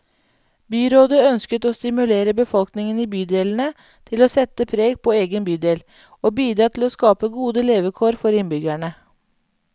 Byrådet ønsker å stimulere befolkningen i bydelene til å sette preg på egen bydel, og bidra til å skape gode levekår for innbyggerne.